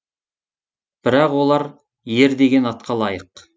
бірақ олар ер деген атқа лайық